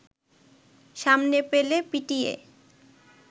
সামনে পেলে পিটিয়ে